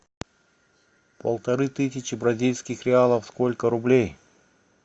полторы тысячи бразильских реалов сколько рублей